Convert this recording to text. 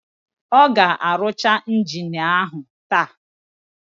Ọ ga-arụcha injini áhụ̀ taa?